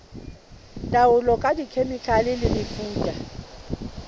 taolo ka dikhemikhale le mefuta